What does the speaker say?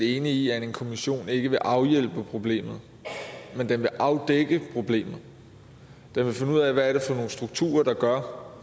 enig i at en kommission ikke vil afhjælpe problemet men den vil afdække problemet den vil finde ud af hvad det er for nogle strukturer der gør